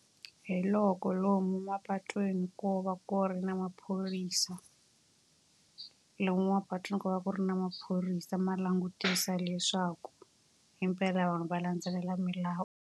Hi loko lomu mapatwini ko va ku ri na maphorisa. Lomu mapatwini ku va ku ri na maphorisa ma langutisa leswaku himpela vanhu va landzelela milawu.